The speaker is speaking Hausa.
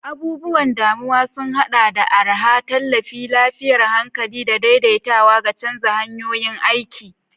Abubuwan damuwa sun haɗa da araha, tallafin lafiyar hankali, da daidaitawa ga canza hanyoyin aiki.